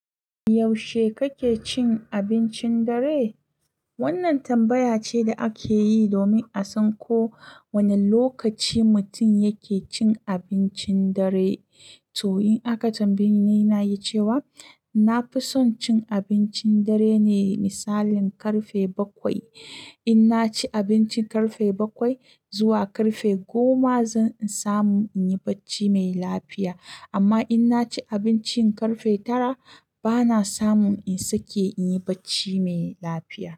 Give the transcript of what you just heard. Yaushe kake cin abincin dare? Wannan tambaya ce da ake yi domin a san ko wane lokaci mutum yake cin abincin dare. To, in aka tambaye ni, na yi cewa na fi son cin abincin dare ne, misali karfe bakwai. In naci abinci karfe bakwai zuwa karfe goma, zan samu in yi bacci mai lafiya. Amma in naci abinci karfe tara, bana samun in sake in yi bacci mai lafiya.